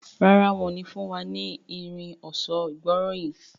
Ràrá wón ní fún wá ní Irin ọ̀ṣọ́ ìgbóríyìn.